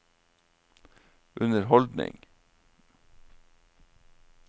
underholdning